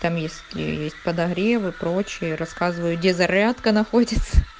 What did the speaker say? там если есть с подогревы прочее рассказываю где зарядка находится